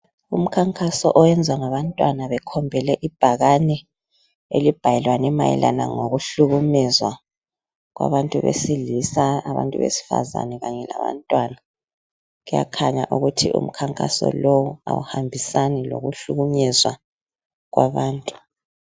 Umkhankaso owenziwa ngabantwana bekhombele ibhakani elibhalwe mayelane ngokuhlukunyezwa kwabantu besilisa abantu besifazane kanyelabantwana kuyakhanya ukuthi umkhankaso lo awuhambisani lokuhlukunyezwa kwabantu